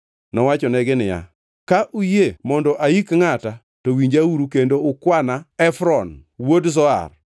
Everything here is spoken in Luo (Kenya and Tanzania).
Nowachonegi niya, “Ka uyie mondo aik ngʼata, to winjauru kendo ukwana Efron wuod Zohar